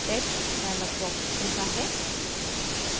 text dialog box खुलता है